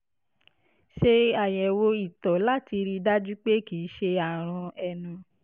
ṣe àyẹ̀wò ìtọ̀ láti rí i dájú pé kì í ṣe àrùn ẹnu